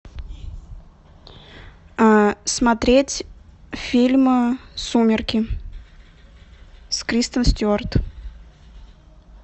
смотреть фильм сумерки с кристен стюарт